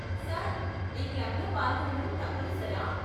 Sir, ఈ క్లబ్లలో పాల్గొనడం తప్పనిసరా ?